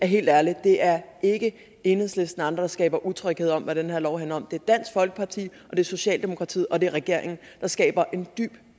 helt ærligt det er ikke enhedslisten og andre der skaber utryghed om hvad den her lov handler om det er dansk folkeparti er socialdemokratiet og det er regeringen der skaber en dyb